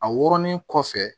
A wɔrɔnlen kɔfɛ